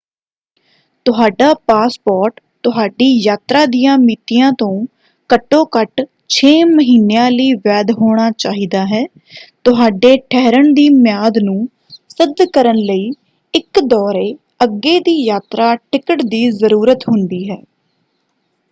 ਤੁਹਾਡਾ ਪਾਸਪੋਰਟ ਤੁਹਾਡੀ ਯਾਤਰਾ ਦੀਆਂ ਮਿਤੀਆਂ ਤੋਂ ਘੱਟੋ-ਘੱਟ 6 ਮਹੀਨਿਆਂ ਲਈ ਵੈਧ ਹੋਣਾ ਚਾਹੀਦਾ ਹੈ। ਤੁਹਾਡੇ ਠਹਿਰਣ ਦੀ ਮਿਆਦ ਨੂੰ ਸਿੱਧ ਕਰਨ ਲਈ ਇੱਕ ਦੌਰੇ/ਅੱਗੇ ਦੀ ਯਾਤਰਾ ਟਿਕਟ ਦੀ ਜ਼ਰੂਰਤ ਹੁੰਦੀ ਹੈ।